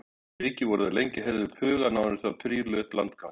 Fyrir vikið voru þær lengi að herða upp hugann áður en þær príluðu upp landganginn.